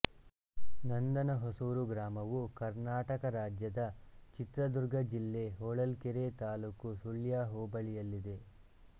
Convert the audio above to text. ನಂದನ ಹೊಸುರು ಗ್ರಾಮವು ಕರ್ನಾಟಕ ರಾಜ್ಯದ ಚಿತ್ರದುರ್ಗ ಜಿಲ್ಲೆ ಹೊಳಲ್ಕೆರೆ ತಾಲ್ಲೂಕು ತಾಳ್ಯ ಹೊಬಳಿಯಲ್ಲಿದೆ